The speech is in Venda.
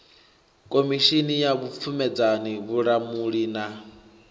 khomishini ya vhupfumedzani vhulamuli na